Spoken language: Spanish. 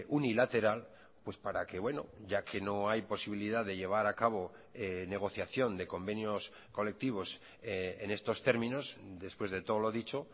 unilateral pues para que bueno ya que no hay posibilidad de llevar a cabo negociación de convenios colectivos en estos términos después de todo lo dicho